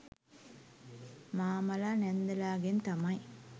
මාමලා නැන්දලගෙන් තමයි